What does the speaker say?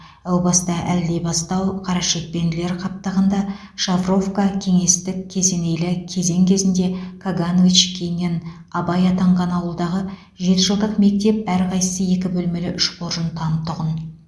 әу баста әлдибастау қарашекпенділер қаптағанда шавровка кеңестік кезенейлі кезең кезінде каганович кейіннен абай атанған ауылдағы жетіжылдық мектеп әрқайсысы екі бөлмелі үш қоржын там тұғын